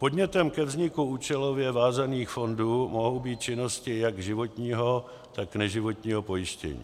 Podnětem ke vzniku účelově vázaných fondů mohou být činnosti jak životního, tak neživotního pojištění.